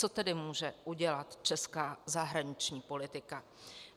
Co tedy může udělat česká zahraniční politika?